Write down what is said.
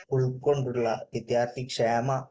ഉൾകൊണ്ടുള്ള വിദ്യാർഥി ക്ഷേമ